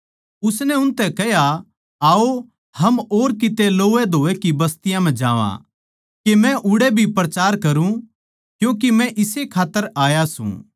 उसनै उनतै कह्या आओ हम और किते लोवैधोवै की बस्तियों म्ह जावां के मै उड़ै भी प्रचार करुँ क्यूँके मै इसे खात्तर आया सूं